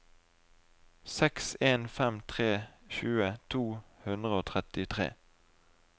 seks en fem tre tjue to hundre og trettitre